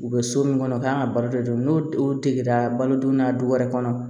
U bɛ so min kɔnɔ u kan ka baro de don n'o o degera balodon na du wɛrɛ kɔnɔ